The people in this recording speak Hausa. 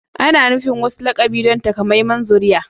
Ana nufin wasu lakabi don takamaiman zuriya